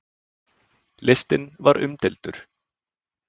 Listinn var umdeildur.